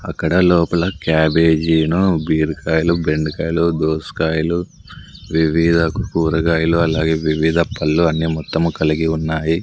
అక్కడ లోపల క్యాబేజీను బీరకాయలు బెండకాయలు దోసకాయలు వివిధ కూరగాయలు అలాగే వివిధ పళ్ళు అన్ని మొత్తం కలిగి ఉన్నాయి.